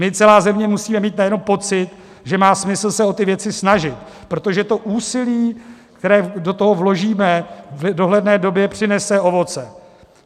My, celá země musíme mít nejenom pocit, že má smysl se o ty věci snažit, protože to úsilí, které do toho vložíme, v dohledné době přinese ovoce.